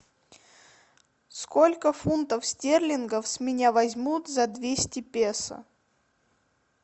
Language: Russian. сколько фунтов стерлингов с меня возьмут за двести песо